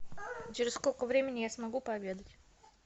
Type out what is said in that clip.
через сколько времени я смогу пообедать